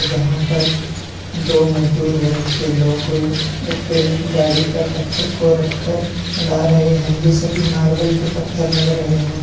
जहां पर दो मजदूर वर्ग के लोग एक गाड़ी पर पत्थर को रखकर ला रहे हैं ये सभी मार्बल के पत्थर लग रहे हैं।